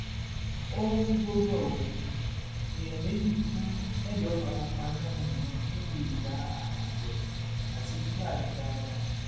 ó ń rúgbòó bó o èèyàn méjì kú mẹjọ fara pa yánnayànna níbi ìjà àwọn àgbẹ àti fúlàní darandaran